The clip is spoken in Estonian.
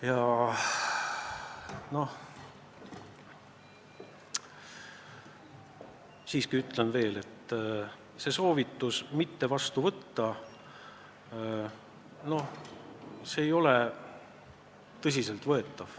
Samas ütlen siiski, et soovitus eelarve eelnõu mitte vastu võtta ei ole tõsiselt võetav.